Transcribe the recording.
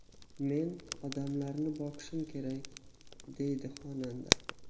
Men odamlarni boqishim kerak”, deydi xonanda.